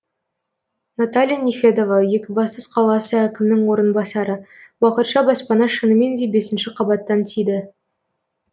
наталья нефедова екібастұз қаласы әкімінің орынбасары уақытша баспана шынымен де бесінші қабаттан тиді